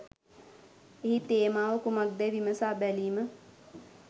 එහි තේමාව කුමක්දැයි විමසා බැලීම